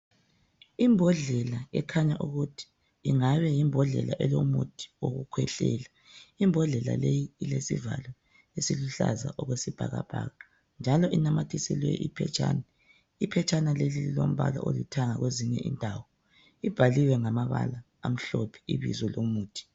Imbodlela ekhanya ukuthi ingabe yimbodlela elomuthi wokukhwehlela, imbodlela leyi ilesivalo esiluhlaza okwesibhakabhaka njalo inamathiselwe iphetshana, iphetshana leli lilombala olithanga kwezinye indawo libhaliwe ngamabala amhlophe ibizo lomuthi